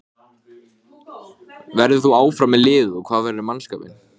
Jóhann: Sáu þið mennina fara frá borði?